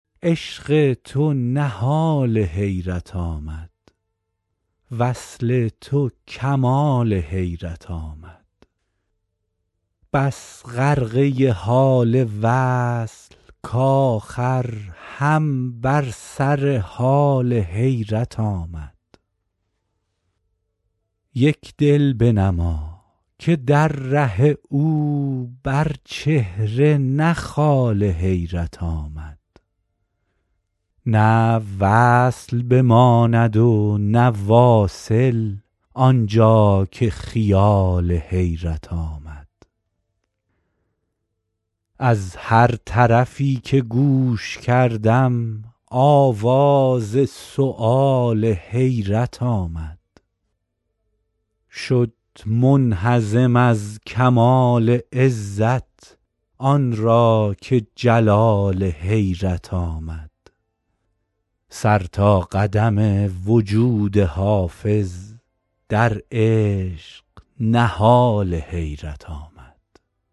عشق تو نهال حیرت آمد وصل تو کمال حیرت آمد بس غرقه حال وصل کآخر هم بر سر حال حیرت آمد یک دل بنما که در ره او بر چهره نه خال حیرت آمد نه وصل بماند و نه واصل آن جا که خیال حیرت آمد از هر طرفی که گوش کردم آواز سؤال حیرت آمد شد منهزم از کمال عزت آن را که جلال حیرت آمد سر تا قدم وجود حافظ در عشق نهال حیرت آمد